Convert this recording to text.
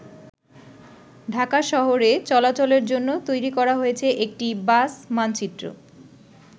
ঢাকা শহরে চলাচলের জন্য তৈরি করা হয়েছে একটি 'বাস মানচিত্র'।